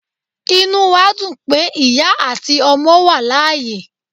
Inú wa dún pe iya atí ọmọ wa layé